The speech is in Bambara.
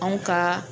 Anw ka